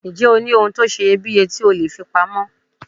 Ǹjẹ́ o ní ohun tó seye bíye tí o leè fi pa mọ́